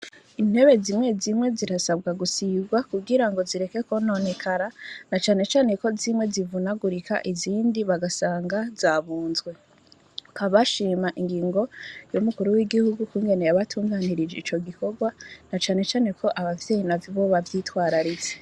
Intebe zimwe zimwe zirasabwa gusigwa kugirango zireke kwononekara na cane cane ko zimwe zivunagurika izindi bagasanga zabunzwe. Bakaba bashima ingingo y'umukuru w'igihugu ukungene yabatunganirije ico gikorwa na cane cane ko abavyeyi maze bo bavyitwararitse.